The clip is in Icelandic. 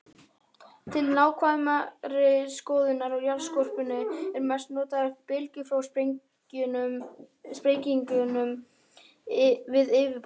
Til nákvæmari skoðunar á jarðskorpunni eru mest notaðar bylgjur frá sprengingum við yfirborð.